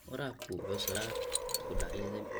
Waraabku wuxuu sababi karaa isku dhacyada biyaha.